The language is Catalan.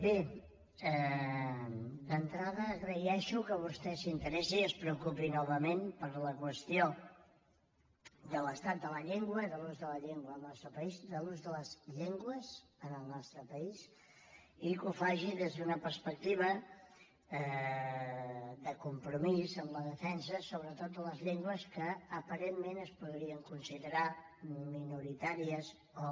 bé d’entrada agraeixo que vostè s’interessi i es preocupi novament per la qüestió de l’estat de la llengua i de l’ús de la llengua al nostre país de l’ús de les llengües en el nostre país i que ho faci des d’una perspectiva de compromís amb la defensa sobretot de les llengües que aparentment es podrien considerar minoritàries o